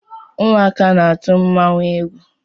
Ụmụaka na-atụ mmanwụ égwú.